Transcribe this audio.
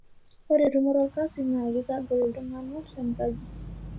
Ore tumoto olkasi naa keitagol iltungana tenkaji.